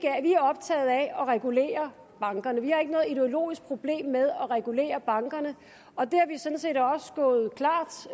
er optaget af at regulere bankerne vi har ikke noget ideologisk problem med at regulere bankerne og vi